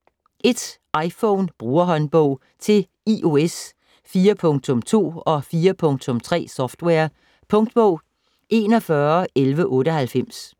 iPhone Brugerhåndbog: Til iOS 4.2- og 4.3-software Punktbog 411198